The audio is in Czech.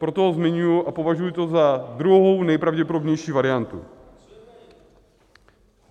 Proto ho zmiňuji a považuji to za druhou nejpravděpodobnější variantu.